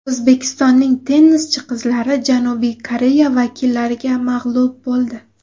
O‘zbekistonning tennischi qizlari Janubiy Koreya vakillariga mag‘lub bo‘ldi.